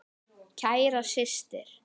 Kæra systir.